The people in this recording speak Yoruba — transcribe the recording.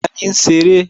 Tani ń ṣeré?